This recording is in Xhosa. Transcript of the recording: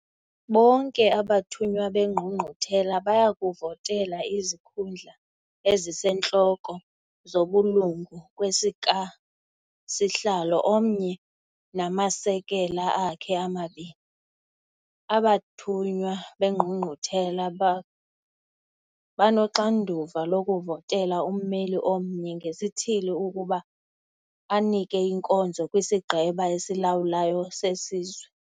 Bonke abathunywa beNgqungquthela baya kuvotela izikhundla ezisentloko zobulungu kwesikasihlalo omnye namasekela akhe amabini. Abathunywa beNgqungquthela banoxanduva lokuvotela ummeli omnye ngesithili ukuba anike inkonzo kwisiGqeba esilawulayo seSizwe.